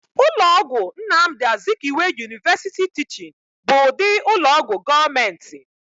Ụlọ ọgwụ Nnamdi Azikiwe University Teaching bụ ụdị ụlọọgwụ gọọmentị